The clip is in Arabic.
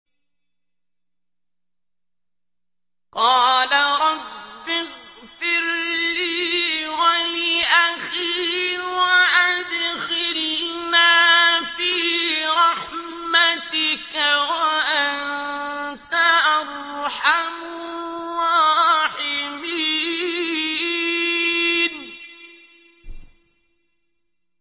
قَالَ رَبِّ اغْفِرْ لِي وَلِأَخِي وَأَدْخِلْنَا فِي رَحْمَتِكَ ۖ وَأَنتَ أَرْحَمُ الرَّاحِمِينَ